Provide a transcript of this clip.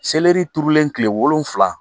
Seleri turulen tile wolonwula